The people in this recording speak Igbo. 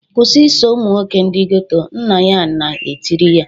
"Kwụsị iso ụmụ nwoke ndị geto" nna ya na etiri ya